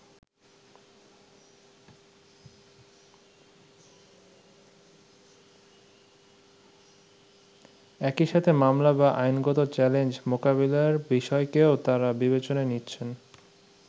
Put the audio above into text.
একইসাথে মামলা বা আইনগত চ্যালেঞ্জ মোকাবিলার বিষয়কেও তারা বিবেচনায় নিচ্ছেন।